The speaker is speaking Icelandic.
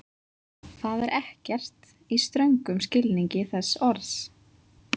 Það er ekkert, í ströngum skilningi þess orðs.